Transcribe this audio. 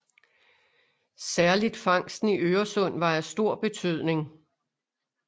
Særligt fangsten i Øresund var af stor betydning